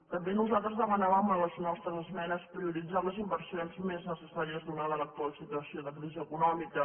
també nosaltres demanàvem en les nostres esmenes prioritzar les inversions més necessàries donada l’actual situació de crisi econòmica